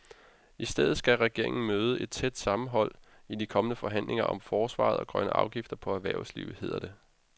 I stedet skal regeringen møde et tæt sammenhold i de kommende forhandlinger om forsvaret og grønne afgifter på erhvervslivet, hedder det.